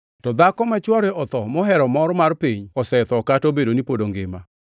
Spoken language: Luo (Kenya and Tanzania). To dhako ma chwore otho mohero mor mar piny, osetho kata obedo ni pod ongima.